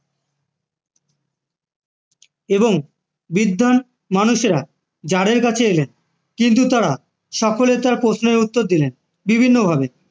এবং বিদ্বান মানুষেরা যাদের কাছে এলেন কিন্তু তারা সকলে তার প্রশ্নের উত্তর দিলেন বিভিন্নভাবে